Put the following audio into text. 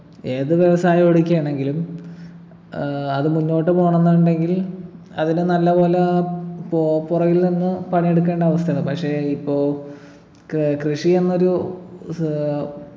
ഏത് വ്യവസായം എടുക്കയാണെങ്കിലും ഏർ അത് മുന്നോട്ട് പോണംന്നുണ്ടെങ്കിൽ അതില് നല്ലപോലെ പോ പൊറകിൽ നിന്ന് പണിയെടുക്കേണ്ട അവസ്ഥയാണ് പക്ഷെ ഇപ്പൊ ക് കൃഷിയെന്നൊരു ഏർ